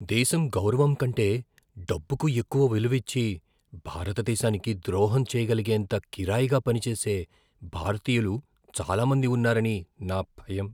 దేశం గౌరవం కంటే డబ్బుకు ఎక్కువ విలువిచ్చి, భారతదేశానికి ద్రోహం చేయగలిగేంత కిరాయిగా పనిచేసే భారతీయులు చాలా మంది ఉన్నారని నా భయం.